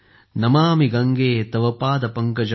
नमामि गंगे तव पाद पंकजं